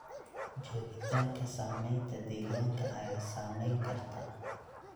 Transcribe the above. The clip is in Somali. Joogitaanka saameynta deegaanka ayaa saameyn karta.